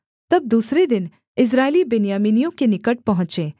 तब दूसरे दिन इस्राएली बिन्यामीनियों के निकट पहुँचे